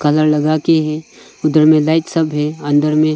Colour लगा के है उधर में लाइट सब है अंदर में।